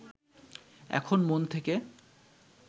এখন মন থেকে